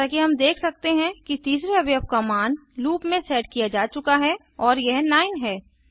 जैसा कि हम देख सकते हैं कि तीसरे अवयव का मान लूप में सेट किया जा चुका है और यह 9 है